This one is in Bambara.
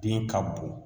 Den ka bon